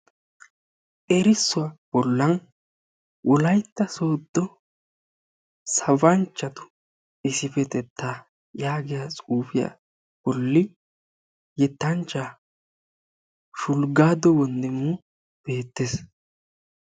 Erissuwa bolla wolyatta sooddo sabanchchatu issipetetta yaagiyaa xuufiya bolli yettanchcha Shulggado Wondimu beettees.